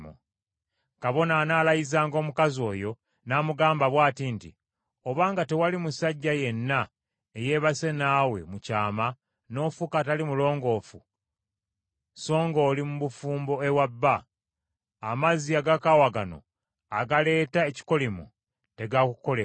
Kabona anaalayizanga omukazi oyo n’amugamba bw’ati nti, ‘Obanga tewali musajja yenna eyeebase naawe mu kyama n’ofuuka atali mulongoofu songa oli mu bufumbo ewa balo, amazzi agakaawa gano agaleeta ekikolimo tegaakukole kabi.’